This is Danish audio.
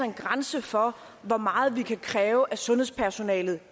en grænse for hvor meget vi kan kræve at sundhedspersonalet